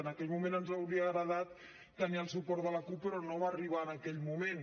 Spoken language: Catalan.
en aquell moment ens hauria agradat tenir el suport de la cup però no va arribar en aquell moment